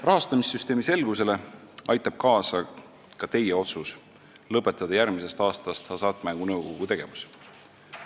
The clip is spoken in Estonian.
Rahastamissüsteemi selgusele aitab kaasa ka teie otsus lõpetada järgmisest aastast Hasartmängumaksu Nõukogu tegevus.